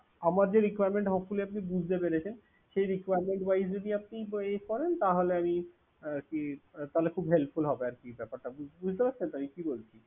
আমার যে requirement hopefully আপনি বুঝতে পেরেছেন, তো সেই requiremnet wise যদি আপনি উহ করেন তাহলে আমি আর কি তাহলে খুব helpful হবে ব্যাপারটা। বুঝতেই পারছেন তো আমি কি বলছি